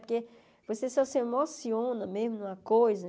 Porque você só se emociona mesmo numa coisa.